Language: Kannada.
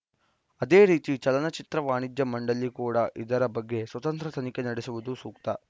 ಅದೇ ರೀತಿ ಚಲನ ಚಿತ್ರ ವಾಣಿಜ್ಯ ಮಂಡಳಿ ಕೂಡ ಇದರ ಬಗ್ಗೆ ಸ್ವತಂತ್ರ ತನಿಖೆ ನಡೆಸುವುದು ಸೂಕ್ತ